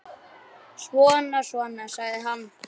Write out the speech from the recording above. Svona, svona, sagði hann.